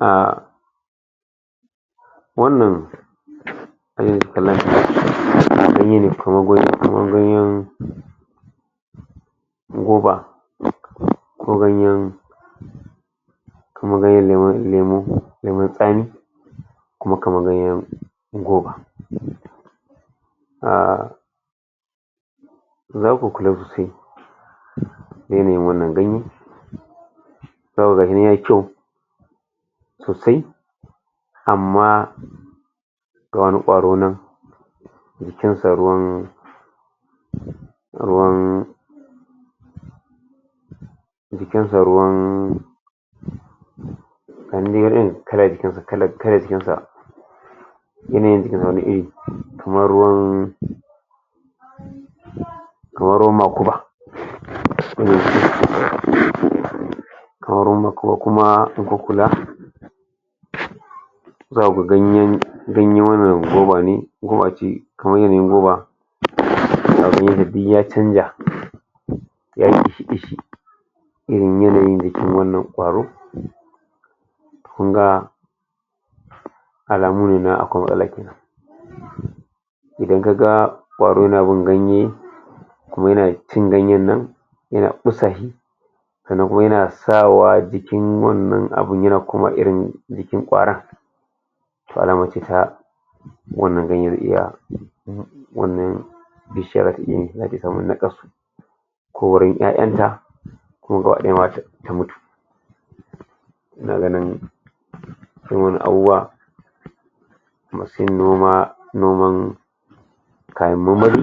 um wannan ganye ne kamar ganyen goba ko ganyen lemun tsami kuma kamar ganyen goba. um zaku kula sosai yanayin wannan ganye, zaku gani yayi kyau sosai amma ga wani kwaro nan jikin sa ruwan ruwan, jikin sa ruwan wani dai irin kala a jikin sa, kalan kayar jikin sa yanayin jikin sa, wani iri kamar ruwan kamar ruwan makuba kamar ruwan makuba. kamar ruwan makuba kuma zaku ga ganyen ganyen wannan, goba ne goba ce, kamar yanayin goba ya zo duk ya canja irin yanayin da shi wannan kwaro kun ga alamu ne na akwai matsala kenan Idan ka ga kwaro na bin ganye, kuma yana cin ganyen nan, yana kusa shi sannan kuma yana sawa jikin wannan abu, yana koma irin jikin kwaron, wannan ganye na Wannan bishiya ake samun nakasu ko wurin 'ya'yan ta ko kuwa gaba daya ma ta mutu. Ina ganin dan wasu abubuwa masu yin noma noman kayan marmari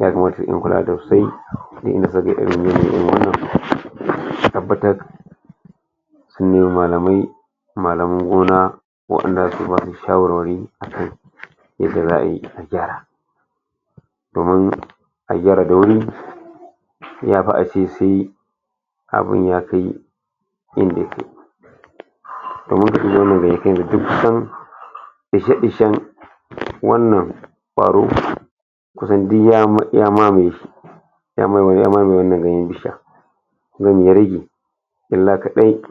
ya kamata suyi kula da wannan a fitar su nemi malamai malaman gona wadanda za su yi maka shawarwari akan yacce za a yi a gyara. Domin a gyara da wuri a yafi a ce sai abun ya kai yanda ya ke. Domin irin wannan ne duk kusan fishefishen wannan kwaro kusan duk ya mat- ya mamaye ya mame, ya mamaye wannan ganyen. bishiya, nan ya rage illa kadai